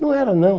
Não era, não.